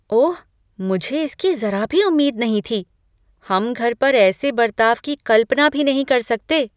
ओह, मुझे इसकी जरा भी उम्मीद नहीं थी। हम घर पर ऐसे बर्ताव की कल्पना भी नहीं कर सकते।